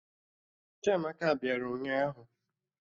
Chiamaka bịara ụnyaahụ